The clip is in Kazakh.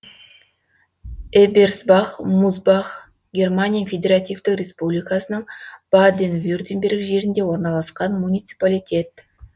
эберсбах мусбах германия федеративтік республикасының баден вюртемберг жерінде орналасқан муниципалитет